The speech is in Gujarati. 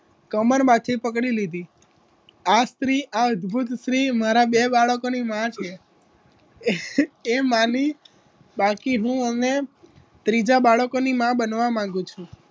કમર માંથી પકડી લીધી. આ સ્ત્રી આ અદભુત સ્ત્રી મારા બે બાળકોની માં છે એ માની બાકી હું અને ત્રીજા બાળકોની મા બનવા માગું છું